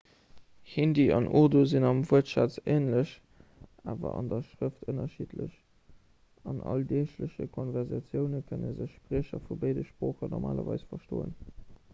hindi an urdu sinn am wuertschatz änlech awer an der schrëft ënnerschiddlech an alldeegleche konversatioune kënne sech spriecher vu béide sproochen normalerweis verstoen